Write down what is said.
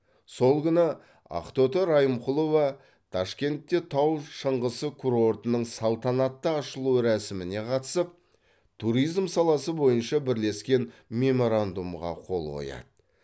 сол күні ақтоты райымқұлова ташкентте тау шыңғысы курортының салтанатты ашылу рәсіміне қатысып туризм саласы бойынша бірлескен меморандумға қол қояды